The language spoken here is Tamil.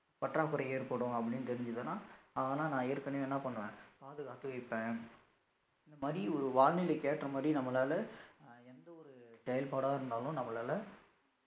பற்றாக்குறை ஏற்படும் அப்படீன்னு தெரிஞ்சுதுன்னா அதெலா நான் ஏற்கனவே என்ன பண்ணுவேன் பாதுகாத்து வைப்பேன் இந்த மாதிரி ஒரு வானிலைக்கு ஏற்ற மாதிரி நம்மளால எந்த ஒரு செயற்படா இருந்தாலும் நம்மளால